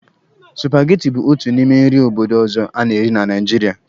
Supageti bụ otu n'ime nri obodo ọzọ a na-eri na Naijiria.